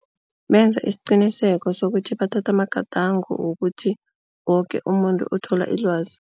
Benza isiqiniseko sokuthi bathathe amagadango wokuthi woke umuntu uthola ilwazi.